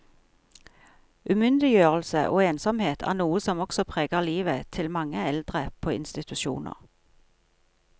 Umyndiggjørelse og ensomhet er noe som også preger livet til mange eldre på institusjoner.